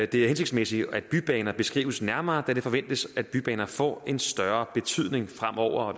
det er hensigtsmæssigt at bybaner beskrives nærmere da det forventes at bybaner får en større betydning fremover og